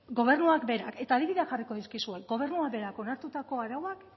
gobernuak berak eta adibideak jarriko dizkizuet gobernuak berak onartutako arauak